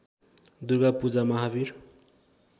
Durga Puja Mahavir